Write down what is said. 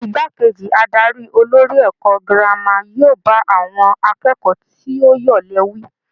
Igbákejì adarí olórí ẹ̀kọ́ girama yóò bá àwọn akẹ́kọ̀ọ́ tí ó yọ̀lẹ wí.